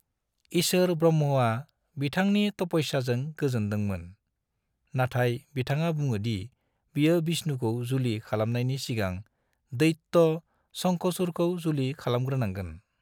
इसोर ब्रह्माआ बिथांनि तपस्याजों गोजोनदोंमोन, नाथाय बिथाङा बुङो दि बियो बिष्णुखौ जुलि खालामनायनि सिगां दैत्य शंखचुड़खौ जुलि खलामग्रोनांगोन।